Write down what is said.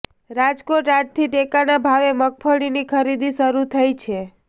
રાજકોટઃ આજથી ટેકાના ભાવે મગફળીની ખરીદી શરૂ થઈ છે